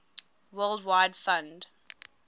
world wide fund